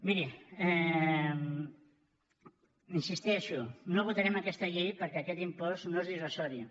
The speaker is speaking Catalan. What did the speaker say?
miri hi insisteixo no votarem aquesta llei perquè aquest impost no és dissuasiu